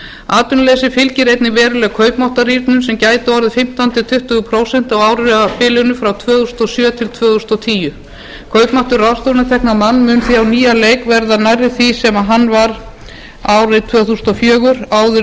atvinnuleysi fylgir einnig veruleg kaupmáttarrýrnun sem gæti orðið fimmtán til tuttugu prósent á árabilinu frá tvö þúsund og sjö til tvö þúsund og tíu kaupmáttur ráðstöfunartekna á mann mun því á nýjan leik verða nærri því sem hann var ári tvö þúsund og fjögur áður en